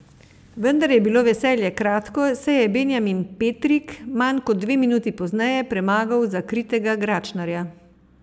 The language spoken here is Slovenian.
Vendar je bilo veselje kratko, saj je Benjamin Petrik manj kot dve minuti pozneje premagal zakritega Gračnarja.